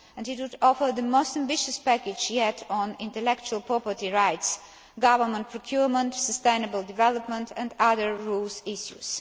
it would offer the most ambitious package yet on intellectual property rights, government procurement, sustainable development and other rules issues